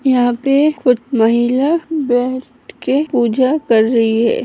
यहाँ पे कुछ महिला बैठ के पूजा कर रही है।